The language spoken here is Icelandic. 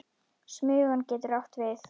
Smugan getur átt við